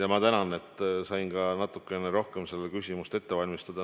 Ja ma tänan, et sain ka natukene rohkem seda küsimust ette valmistada.